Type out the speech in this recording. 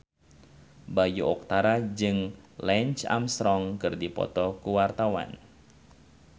Bayu Octara jeung Lance Armstrong keur dipoto ku wartawan